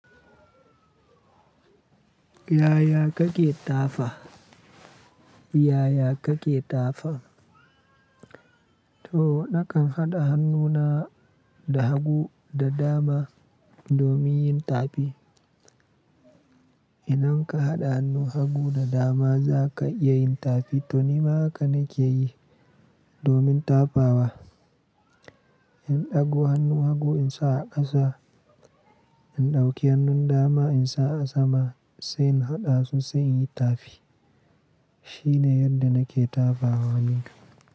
Yaya kake tafa? Yaya kake tafa? To nakan haɗa hannuna da hagu da dama domin yin tafi. Idan ka haɗa hannun, hagu da dama za ka iya yin tafi. To ni ma haka nake yi domin tafawa. In ɗago hannun, hagu in sa a ƙasa, in ɗauki hannun dama in sa a sama sai in haɗa su sai in yi tafi. Shine yadda nake tafawa, nikam.